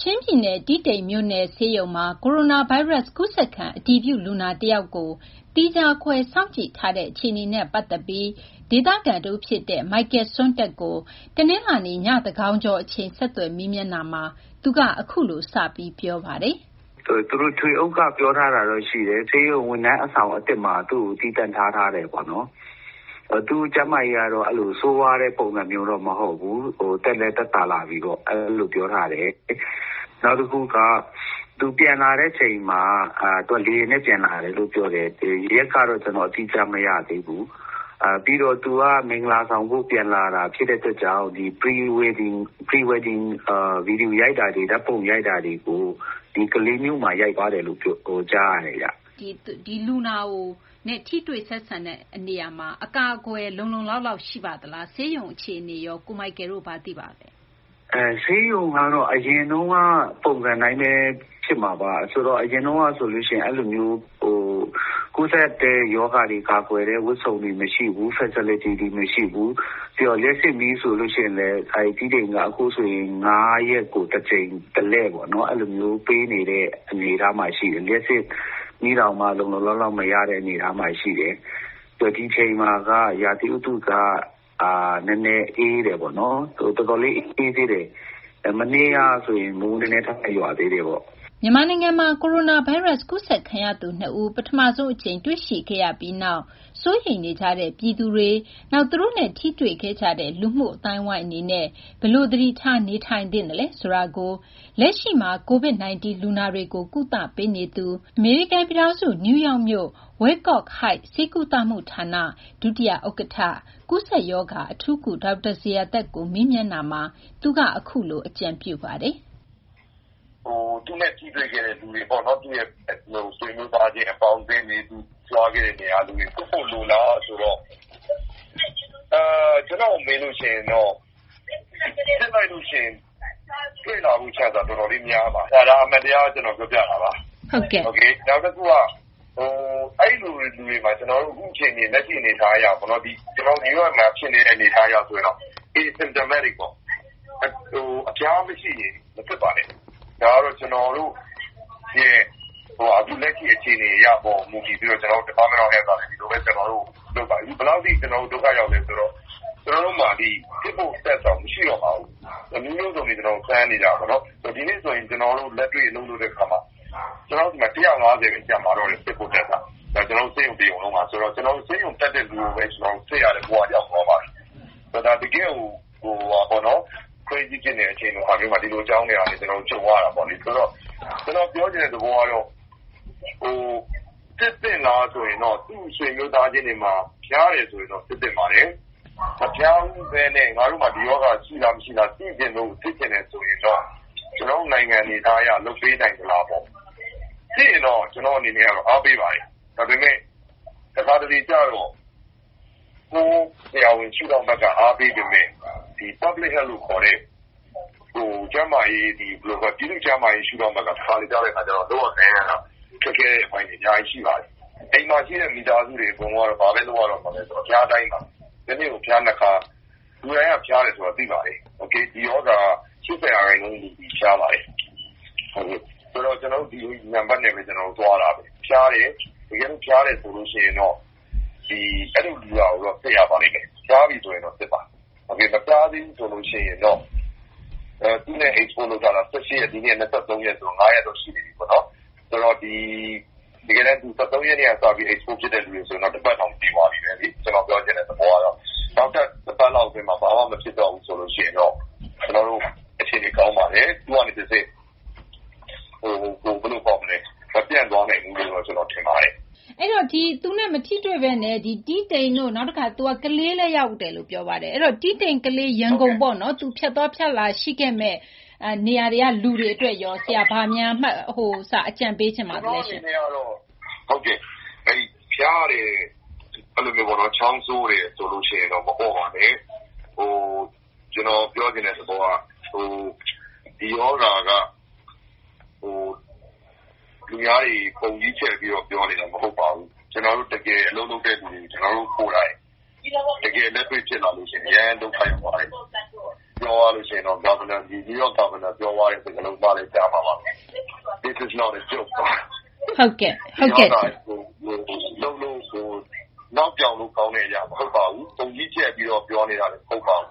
ချင်းပြည်နယ် ၊ တီးတိန်မြို့နယ် ဆေးရုံမှာ ကိုရိုနာဗိုင်းရပ်စ် ကူးစက်ခံ အတည်ပြု လူနာ တယောက်ကို သီးခြားခွဲထား စောင့်ကြည့်ထားတဲ့ အခြေအနေကို ဒေသခံ တဦးဖြစ်တဲ့ Michael Suantak ကို တနလာၤနေ့ည သန်းခေါင်ကျော် အချိန် မသိင်္ဂ ီထိုက် ဆက်သွယ်မေးမြန်းတာမှာ သူက အခုလို စပြီး ပြောပါတယ်။ သူတို့ ထွေအုပ်ကနေ ပြောထားတာတော့ရှိတယ် ။ ဆေးရုံဝန်ထမ်းအဆောင်အသစ်မှာ သူ့ကို သီးသန့်ထားထာတယ်ပေါ့။ သူ့ကျန်းမာရေးကတော့ ဆိုးဝါးတဲ့ ပုံစံမျိုးမဟုတ်ဘူး။ သက်လည်းသက်သာလာပြီပေါ့။ နောက်တခုက သူပြန်လာတဲ့အချိန်မှာ သူလေယာဉ်နဲ့ ပြန်လာတယ်လို့ ပြောတယ် ရက်ကတော့ ကျနော်အတိအကျ မရသေးဘူး။ သူက မင်္ဂလာဆောင်ဖို့ ပြန်လာတာဖြစ်တဲ့အတွက်ကြောင့် Pre-wedding ဓါတ်ပုံ၊ ဗွီဒီယိုရိုက်တာတွေကို ဒီကလေးမြို့မှာ ရိုက်သွားတယ်လို့ ပြောတယ်။ လူနာနဲ့ ထိတွေ့ဆက်ဆံတဲ့နေရာမှာ အကာအကွယ် လုံလုံလောက်လောက် ရှိပါသလား။ ဆေးရုံအခြေအနေရော ကို Michael တို့ ဘာတွေ သိထားပါသလဲ။ ဆေးရုံကတော့ အရင်တုန်းက ပုံစံအတိုင်းပဲ ဖြစ်မှာပါ။ အရင်တုန်းကဆိုရင် ကူးစက်တဲ့ရောဂါတွေ ကာကွယ်တဲ့ဝတ်စုံတွေမရှိဘူး Facility တွေမရှိဘူး။ လျှပ်စစ်မီးဆိုရင်လည်း တီးတိန်က ၅ ရက်ကို တကြိမ် ၊ တလှည့်ပေါ့နော် အဲလိုမျိုး ပေးနေတဲ့အနေအထားမှာရှိတယ်။ လျှပ်စစ်မီး လုံလုံလောက်လောက် မရတဲ့အနေအထားရှိတယ် ။ ဒီအချိန်မှာက ရာသီဥတုက နည်းနည်းအေးတယ်ပေါ့နော် ၊ တော်တော်လေးအေးသေးတယ်။ မနေ့ကဆိုရင် မိုးနည်းနည်း ရွာသေးတယ်ပေါ့။ မြန်မာနိုင်ငံမှာ ကိုရိုနာဗိုင်းရပ်စ် ကူးစက်ခံရသူ ၂ ဦး ပထမဆုံး အကြိမ် တွေ့ရှိခဲ့ရပြီးနောက် စိုးရိမ်နေကြတဲ့ ပြည်သူတွေ၊ နောက် သူတို့နဲ့ ထိတွေ့ခဲ့ကြတဲ့ လူမှု အသိုင်းအဝိုင်း အနေနဲ့ ဘယ်လို သတိထား နေထိုင်သင့်သလဲ ဆိုတာကို လက်ရှိမှာ COVID 19 လူနာတွေကို ကုသပေးနေတဲ့ အမေရိကန်ပြည်ထောင်စု၊ နယူးယောက်မြို့ Wyckoff Heights ဆေးဝါးကုသမှုဌာန ဒုတိယဥက္ကဌ ကူးစက်ရောဂါ အထူးကု ဒေါက်တာ ဇေယျာသက်ကို မေးမြန်းတာမှာတော့ သူက အခုလို အကြံပြုပါတယ်။ သူနဲ့ ထိတွေ့ခဲ့တဲ့ လူတွေပေါ့နော် ၊ ဆွေမျိုးတွေ အပေါင်းအသင်းတွေ သူသွားခဲ့တဲ့နေရာက လူတွေကို စစ်ဖို့လိုလားဆိုတော့ စစ်လိုက်ရင် တွေ့လာမယ့် chance က တော်တော်လေးများပါတယ် ဒါက အမှန်တရား ကျနော်ပြောပြတာပါ။ နောက်တခုက အဲဒီလူတွေမှာ ကျနော်တို့ လက်ရှိ New York မှာ ဖြစ်နေတဲ့ အနေအထားအရ ဆိုရင် အဖျားမရှိရင် မစစ်ပါနဲ့ ။ ဒါကတော့ ကျနေ်ာတို့ရဲ့ အခုလက်ရှိအခြေအနေအရ Department က ဒီလိုလုပ်ပါတယ်။ အခုဘယ်လောက်အထိ ကျနော်တို့ဒုက္ခရောက်သလဲဆိုတော့ ကျနော်တို့မှာ စစ်ဖို့ ပစ္စည်းတောင်မရှိတော့ပါဘူး။ အမျိုးမျိုးစမ်းနေတာပေါ့နော် ဒီနေ့ဆိုရင် ကျနော်တို့ လက်တွေ့လုပ်တဲ့အခါမှာ ကျနော်တို့စီမှာ စစ်ဖို့က ၁၅၀ ပဲ ကျန်ပါတော့တယ် စစ်ဖို့ပစ္စည်းက ကျနော်တို့ ဆေးရုံတရုံလုံးမှာ အဲဒီတော့ ကျနော်တို့ ဆေးရုံတက်တဲ့လူကိုပဲ စစ်ဖို့ဘဝရောက်သွားပါတယ်။ ဒါက တကယ့်ကို အရေးကြုံလာတဲ့အခြေအနေမျိုးမှာ ကျနော်နော်တို့ ကြုံနေရတာပေါ့လေ။ ဆိုတော့ ကျနော်ပြောချင်တာကတော့ စစ်သင့်လားဆိုတော့ သူ့ဆွေမျိုးသားချင်းတွေမှာ ဖျားတယ်ဆိုရင်တော့ စစ်သင့်ပါတယ်။ မဖျားပဲနဲ့ ငါတို့မှာ ဒီရောဂါရှိ၊ မရှိသိချင်လို့ စစ်ချင်တယ်ဆိုရင်တော့ ကျနော်တို့ နိုင်ငံအနေအထားအရ လုပ်ပေးနိုင်သလားပေါ့ ။ စစ်ရင်တော့ ကျနော့်အနေနဲ့က အားပေးပါတယ်။ ဒါပေမယ့် တခါတလေကျတော့ ကိုယ့်ဆရာဝန် ရှုထောင့်ကနေ အားပေးပေမယ့် ပြည်သူ့ကျန်းမာရေးရှုထောင့်ဘက်ကတော့ တခါတလေ လုပ်ကိုင်ရတာ ခက်ခဲတဲ့အပိုင်းတွေရှိပါတယ်။ အိမ်မှာရှိတဲ့ မိသားစုတွေ အကုန်လုံးကတော့ ဘာပဲ လုပ်ရမလဲဆိုတော့ အဖျားတိုင်းပါ တနေ့ကို အဖျား ၂ ခါတိုင်းပါ လူတိုင်းက ဖျားတယ်ဆိုတာသိပါတယ်။ ဒီရောဂါမှာ ၈၀ ရာခိုင်နှုန်းက ဖျားပါတယ်။ ဆိုတော့ ကျနော်တို့လည်း ဒီဂရီနံပတ်နဲ့ သွားတာပဲ။ တကယ်လို့ ဖျားတယ်ဆိုရင်တော့ အဲဒီလူကို စစ်ရပါလိမ့်မယ် ၊ ဖျားပြီဆိုရင်တော့ စစ်ပါ။ မဖျားသေးဘူးဆိုရင်တော့ သူနဲ့ ထိတွေ့ထားတာ ၁၈ ရက်တုန်းက ဒီနေ့က ၂၃ ရက်ဆိုတော့ ၅ ရက်တော့ ရှိနေပြီပေါ့နော်။ ဆိုတော့ ဒီ ၁၃ ရက်နေ့က ထိတွေ့ထားတဲ့လူဆိုရင် ၁ ပတ်တောင်ပြည့်သွားပြီ ။ ကျနော်ပြောချင်တဲ့သဘောကတော့ နောက်ထပ် ၁ ပတ်လောက်အတွင်းမှာ ဘာမှ မဖြစ်တော့ဘူးဆိုရင်တော့ အခြေအနေကောင်းပါတယ်။ သူကနေတဆင့် မပြန့်သွားနိုင်ဘူးလို့တော့ ကျနော်ထင်ပါတယ်။ အဲဒီတော့ သူနဲ့ မထိတွေ့ပဲနဲ့ သူက တီးတိန်တို့ ကလေးလည်း ရောက်တယ်ပြောပါတယ် ။ တီးတိန်၊ ကလေး၊ ရန်ကုန်ပေါ့နော် သူ ဖြတ်သွားဖြတ်လာရှိခဲ့မယ့် နေရာတွေက လူတွေအတွက်ရော ဘာများ အကြံပေးချင်ပါသလဲ။ ကျနော့်အနေနဲ့ကတော့ ဖျားတယ်၊ ချောင်းဆိုးတယ်ဆိုရင် မပေါ့ပါနဲ့။ ကျနော်ပြောချင်တဲ့ သဘောက ဒီရောဂါက လူများတွေ ပုံကြီးချဲ့ပြီးတော့ ပြောနေတာမဟုတ်ပါဘူး။ ကျနော်တို့ တကယ် အလုပ်လုပ်တဲ့လူတွေ တကယ်လက်တွေဖြစ်လာရင် အရမ်း ဒုက္ခရောက်ပါတယ်။ ပြောရရင် နယူးယောက် မြို့တော်ဝန်ပြောသွားတဲ့စကားလုံးလည်း ကြားမှာပါ။ “This is not a joke” ဒီရောဂါက နောက်ပြောင်လို့ ကောင်းတဲ့အရာ မဟုတ်ပါဘူး။ ပုံကြီးချဲ့ပြီးတော့ ပြောနေတာမဟုတ်ပါဘူး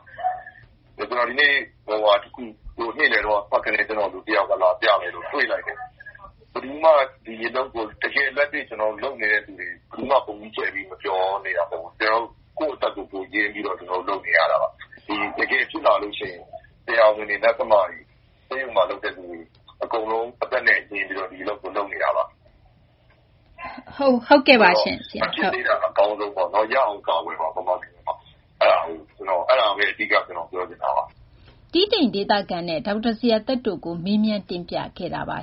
။ ဒီနေ့ နေ့လည်က ကျနော့်ကို လူတယောက်လာပြလို့ တွေ့လိုက်တယ် ဘယ်သူမှ ကျနော်တို့ တကယ်လက်တွေ့လုပ်နေတဲ့လူတွေက ပုံကြီးချဲ့ပြီးတော့ ပြောနေတာမဟုတ်ပါဘူး ကိုယ့်အသက်ကို ရင်းပြီးတော့ လုပ်နေရတာ ။ တကယ်ဖြစ်လာရင် ဆရာဝန်တွေ ၊ Nurse တွေ ဆေးရုံမှာ လုပ်နေရတဲ့လူတွေ အကုန်လုံး အသက်နဲ့ ရင်းပြီးတော့ ကျနော်တို့ ဒီအလုပ်ကို လုပ်နေတာပါ။ ဆိုတော့ မဖြစ်သေးတာ အကောင်းဆုံးပေါ့နော် ၊ ရအောင်ကာကွယ်ပါ မြန်မာပြည်မှာ အဲဒါကို အဓိက ကျနော်ပြောချင်တာပါ။ တီးတိန် ဒေသခံနဲ့ ဒေါက်တာ ဇေယျာသက်တို့ကို မသိင်္ဂ ီထိုက်က မေးမြန်းတင်ပြခဲ့တာပါ